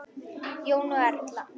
Jón og Erla.